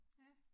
Ja